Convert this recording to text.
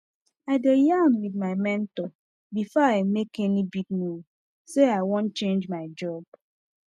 i dey yarn with my mentor before i make any big move say i wan change my job